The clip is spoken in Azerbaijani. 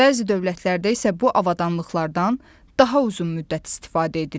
Bəzi dövlətlərdə isə bu avadanlıqlardan daha uzun müddət istifadə edilir.